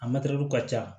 A mɛtiriw ka ca